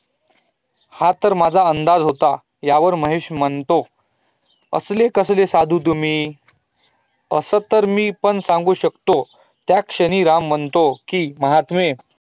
हा तर माझा अंदाज होता यावर महेश म्हणतो, असेले कसले साधू तुम्ही? असं तर मी पण सांगु शकतो त्याशानी राम म्हणतो की महात्मे